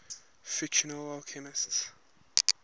fictional alchemists